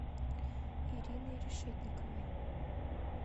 ириной решетниковой